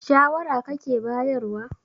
shawara kake bayarwa?